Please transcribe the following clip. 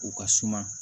U ka suma